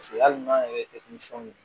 hali n'an yɛrɛ tɛ denmisɛnw ye